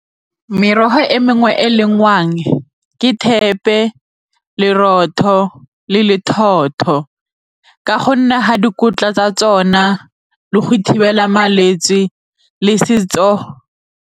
Merogo e mengwe e e lengwang ke thepe le lerotho le ka gonne ga dikotla tsa tsona le go thibela malwetse le setso.